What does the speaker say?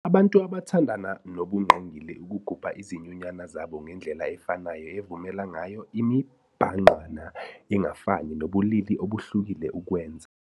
Abantu abathandana nobungqingili ukugubha izinyunyana zabo ngendlela efanayo evumela ngayo imibhangqwana engafani nabobulili obuhlukile ukwenza.